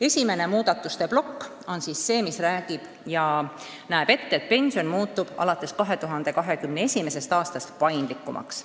Esimene muudatuste plokk näeb ette, et pension muutub alates 2021. aastast paindlikumaks.